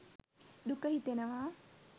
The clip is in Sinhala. දුක හිතෙනවා